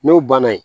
N'o banna yen